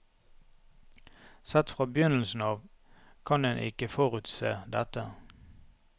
Sett fra begynnelsen av, kan en ikke forutse dette.